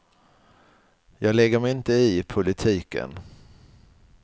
Jag lägger mig inte i politiken.